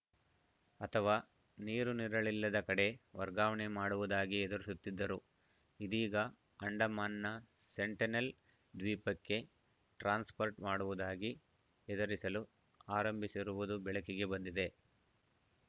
ಅಥವಾ ನೀರು ನೆರಳಿಲ್ಲದ ಕಡೆ ವರ್ಗಾವಣೆ ಮಾಡುವುದಾಗಿ ಹೆದರಿಸುತ್ತಿದ್ದರು ಇದೀಗ ಅಂಡಮಾನ್‌ನ ಸೆಂಟಿನೆಲ್‌ ದ್ವೀಪಕ್ಕೆ ಟ್ರಾನ್ಸ್‌ಫರ್‌ ಮಾಡುವುದಾಗಿ ಹೆದರಿಸಲು ಆರಂಭಿಸಿರುವುದು ಬೆಳಕಿಗೆ ಬಂದಿದೆ